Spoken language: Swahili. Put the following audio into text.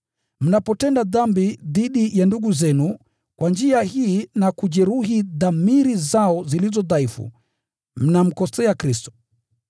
Mnapotenda dhambi dhidi ya ndugu zenu kwa njia hii na kujeruhi dhamiri zao zilizo dhaifu, mnamkosea Kristo.